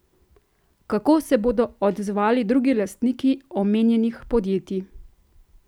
Kako se bodo odzvali drugi lastniki omenjenih podjetij?